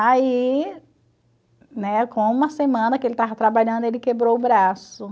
Aí, né, com uma semana que ele estava trabalhando, ele quebrou o braço.